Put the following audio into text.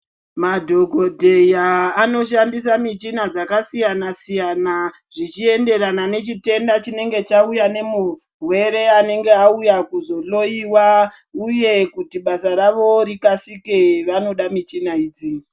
Madhokodheya anoshandisa michina dzakasiyanasiyana zvichienderana nechitenda chinenge chauya nemurwere anenge auya kuzohloiwa uye kuti basa ravo rikasire vanoda michina idzi.